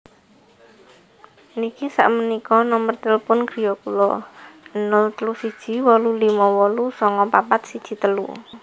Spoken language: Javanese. Niki sakmenika nomor tilpun griya kula 031 8589413